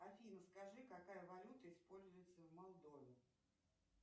афина скажи какая валюта используется в молдове